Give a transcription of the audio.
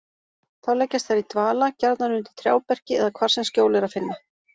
Þá leggjast þær í dvala, gjarnan undir trjáberki eða hvar sem skjól er að finna.